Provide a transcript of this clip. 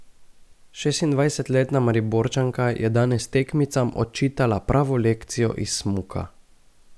Šestindvajsetletna Mariborčanka je danes tekmicam odčitala pravo lekcijo iz smuka.